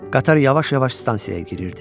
Qatar yavaş-yavaş stansiyaya girirdi.